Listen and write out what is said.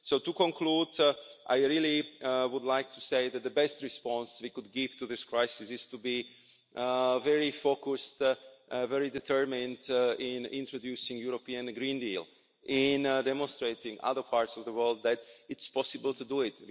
To conclude, I would like to say that the best response we could give to this crisis is to be very focused and very determined in introducing the European Green Deal and demonstrating to other parts of the world that it's possible to do it.